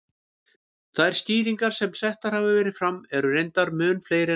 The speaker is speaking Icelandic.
Þær skýringar sem settar hafa verið fram eru reyndar mun fleiri en þetta.